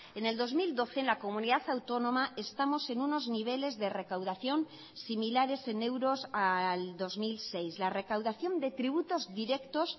en el dos mil doce en la comunidad autónoma estamos en unos niveles de recaudación similares en euros al dos mil seis la recaudación de tributos directos